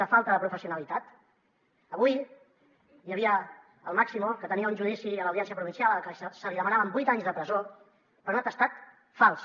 de falta de professionalitat avui hi havia el máximo que tenia un judici a l’audiència provincial al que se li demanaven vuit anys de presó per un atestat fals